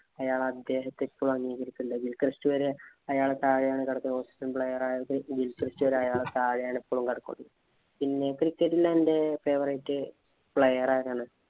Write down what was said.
അയാള്‍ അദ്ദേഹത്തെ ഇപ്പോഴും അംഗീകരിക്കുന്നുണ്ട്. വില്‍ ക്രെസ്റ്റ് വരെ അയാളെ താഴെ ആണ് കെടക്കണത്. ഓസീസ് player ആയ വില്‍ ക്രെസ്റ്റ് അയാളുടെ താഴെ ആണ് ഇപ്പളും കിടക്കുന്നത്. പിന്നെ cricket ഇല് എന്‍റെ favourite player ആരാണ്?